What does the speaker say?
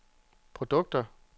produkter